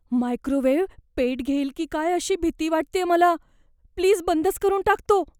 Microwave पेट घेईल की काय अशी भीती वाटतेय मला. प्लीज बंदच करून टाक तो.